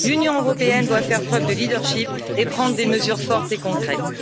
L'Union européenne doit faire preuve de leadership et prendre des mesures fortes et concrètes.